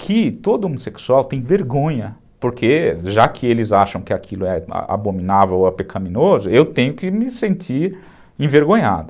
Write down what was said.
Que todo homossexual tem vergonha, porque já que eles acham que aquilo é abominável ou é pecaminoso, eu tenho que me sentir envergonhado.